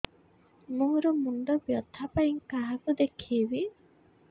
ମୋର ମୁଣ୍ଡ ବ୍ୟଥା ପାଇଁ କାହାକୁ ଦେଖେଇବି